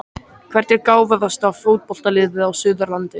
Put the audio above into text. Hvert er gáfaðasta fótboltaliðið á Suðurlandi?